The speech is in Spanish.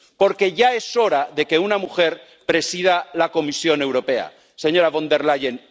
Porque ya es hora de que una mujer presida la Comisión Europea, señora von der Leyen.